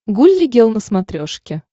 гулли гел на смотрешке